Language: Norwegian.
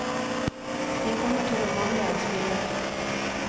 De kommer til å mangle en spiller.